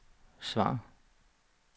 svar